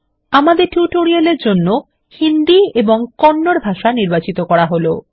আমাদের টিউটোরিয়াল এর জন্য হিন্দি এবং কন্নড ভাষা নির্বাচিত করা হলো